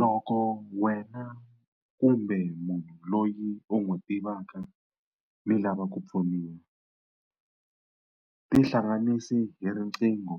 Loko wena kumbe munhu loyi u n'wi tivaka mi lava ku pfuniwa, tihlanganisi hi riqingho